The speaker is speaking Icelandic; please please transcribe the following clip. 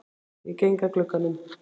Ég geng að glugganum.